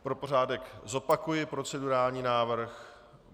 Pro pořádek zopakuji procedurální návrh.